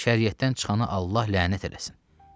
Şəriətdən çıxanı Allah lənət eləsin.